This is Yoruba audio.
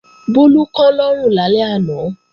Bólú kán lọ́rùn lálẹ́ àná